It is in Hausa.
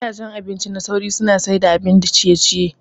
Gidajen abinci na sauri suna siyar da abun ciye ciye.